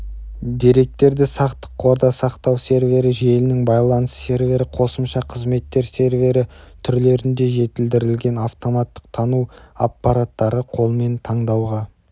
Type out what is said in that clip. деректерді сақтық қорда сақтау сервері желінің байланыс сервері қосымша қызметтер сервері түрлерінде жетілдірілген автоматтық тану аппараттары қолмен таңдауға